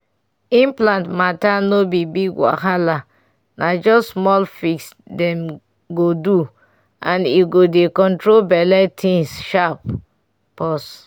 implant matter no be big wahala na just small fix dem go do and e go dey control belle things sharp pause.